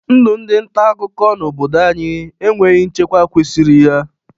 Ndụ ndị ntaakụkọ n'obodo anyị enweghi nchekwa kwesiri ya.